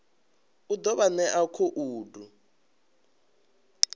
u ḓo vha ṋea khoudu